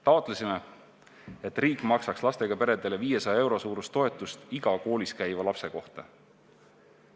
Taotlesime, et riik maksaks lastega peredele 500 euro suurust toetust iga koolis käiva lapse kohta.